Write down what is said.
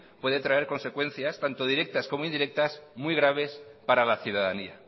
puede traer consecuencias tanto directas como indirectas muy graves para la ciudadanía